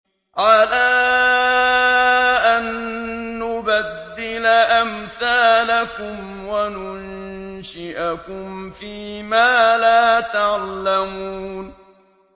عَلَىٰ أَن نُّبَدِّلَ أَمْثَالَكُمْ وَنُنشِئَكُمْ فِي مَا لَا تَعْلَمُونَ